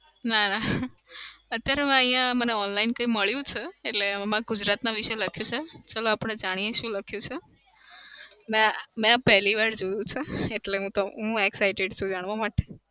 ના ના. અત્યારે અહિયાં મને online કઈ મળ્યું છે એટલે એમાં ગુજરાત વિષે લખ્યું છે ચાલો આપડે જાણીએ શું લખ્યું છે. ના મેં પેહલી વાર જોયું છે એટલે હું તો હું excited છું જાણવા માટે